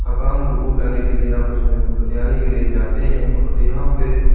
थकान को दूर करने के लिए आपस में बतियाने के लिए जाते हैं और यहां पे--